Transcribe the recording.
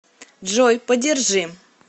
джой подержи